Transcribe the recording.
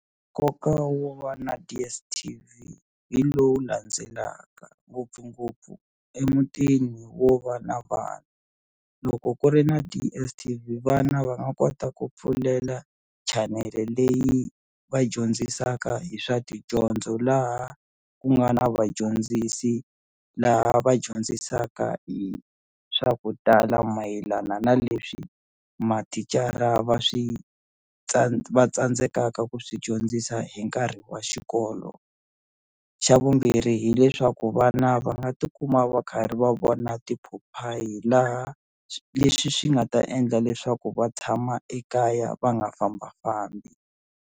Nkoka wo va na DSTV hi lowu landzelaka ngopfungopfu emutini wo va na vana loko ku ri na DSTV vana va nga kota ku pfulela chanele leyi va dyondzisaka hi swa tidyondzo laha ku nga na vadyondzisi laha va dyondzisaka hi swa ku tala mayelana na leswi mathicara va swi va tsandzekaka ku swi dyondzisa hi nkarhi wa xikolo xa vumbirhi hileswaku vana va nga tikuma va karhi va vona tiphophayi laha leswi swi nga ta endla leswaku va tshama ekaya va nga fambafambi.